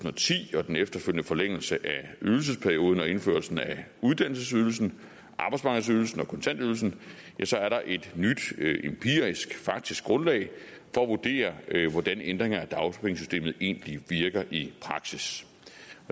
og ti og den efterfølgende forlængelse af ydelsesperioden og indførelsen af uddannelsesydelsen arbejdsmarkedsydelsen og kontantydelsen er der et nyt empirisk faktisk grundlag for at vurdere hvordan ændringer af dagpengesystemet egentlig virker i praksis